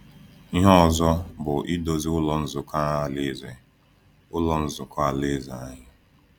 Ihe ọzọ bụ idozi Ụlọ Nzukọ Alaeze Ụlọ Nzukọ Alaeze anyị.